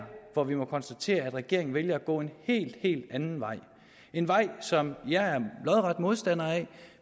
hvor vi må konstatere at regeringen vælger at gå en helt helt anden vej en vej som jeg er lodret modstander af